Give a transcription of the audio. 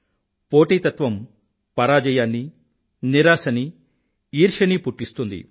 పోటీతత్వం పరాజయాన్నీనిరాశనీ ఈర్ష్యనీ పుట్టిస్తుంది